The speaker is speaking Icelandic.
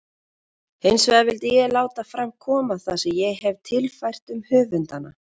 Hinsvegar vildi ég láta fram koma það sem ég hefi tilfært um höfundana.